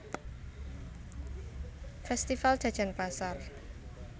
Festival Jajan Pasar